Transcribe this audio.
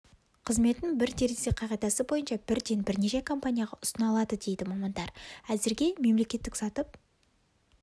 қызметін бір терезе қағидасы бойынша бірден бірнеше компанияға ұсына алады дейді мамандар әзірге мемлекеттік сатып